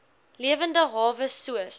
lewende hawe soos